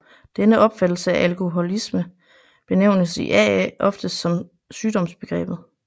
Denne opfattelse af alkoholisme benævnes i AA ofte som sygdomsbegrebet